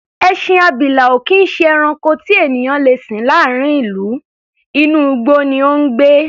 Ẹṣin abilà ò kì í ṣe ẹranko tí ènìyàn le sìn láàárín ìlú, inú igbó ni ó ń gbé.